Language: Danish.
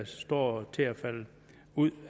står til at falde ud